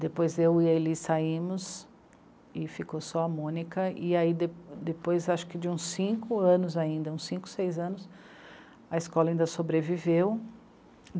Depois eu e a Eli saímos, e ficou só a Mônica, e aí de depois acho que de uns cinco anos ainda, uns cinco, seis anos, a escola ainda sobreviveu.